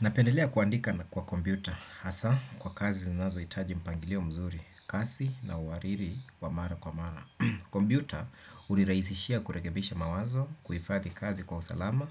Napendelea kuandika na kwa kompyuta, hasa kwa kazi zinazohitaji mpangilio mzuri, kasi na uhariri wa mara kwa mara. Kompyuta hunirahisishia kurekebisha mawazo, kuifadhi kazi kwa usalama